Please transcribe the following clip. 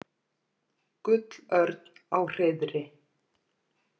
Gullörn á hreiðri.